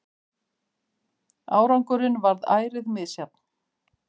Árangurinn varð ærið misjafn.